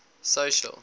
social